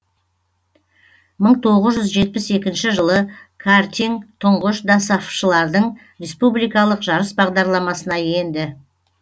мың тоғыз жүз жетпіс екінші жылы картиң тұңғыш досааф шылардың республикалық жарыс бағдарламасына енді